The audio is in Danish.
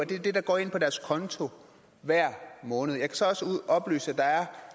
det er det der går ind på deres konto hver måned jeg kan så også oplyse at der er